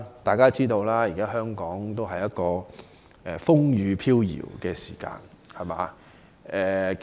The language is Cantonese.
大家都知道，香港目前處於一個風雨飄搖的時期。